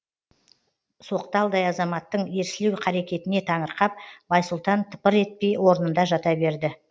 соқталдай азаматтың ерсілеу қарекетіне таңырқап байсұлтан тыпыр етпей орнында жата берді